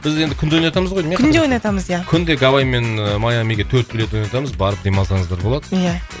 біз енді күнде ойнатамыз ғой деймін иә күнде ойнатамыз иә күнде гавайи мен ыыы майамиге төрт билет ойнатамыз барып демалсаңыздар болады иә